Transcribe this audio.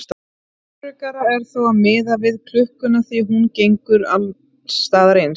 Öruggara er þá að miða við klukkuna því að hún gengur alls staðar eins.